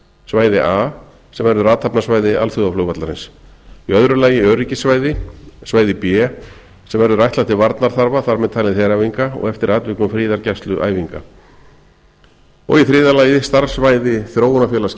svæði a sem verður athafnasvæði alþjóðaflugvallarins í öðru lagi öryggissvæði svæði b sem verður ætlað til varnarþarfa þar með talið heræfinga og eftir atvikum friðargæsluæfinga og í þriðja lagi starfssvæði þróunarfélags